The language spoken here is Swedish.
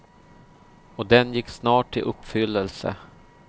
Och den gick snart i uppfyllelse.